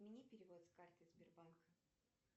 отмени перевод с карты сбербанка